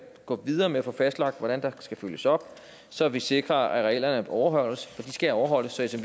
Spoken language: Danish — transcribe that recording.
gå videre med at få fastlagt hvordan der skal følges op så vi sikrer at reglerne overholdes for de skal overholdes så